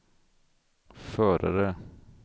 förare